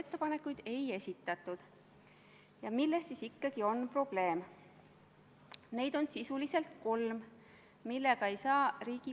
Ma palun ettekandjaks riigikaitsekomisjoni liikme Jaak Juske.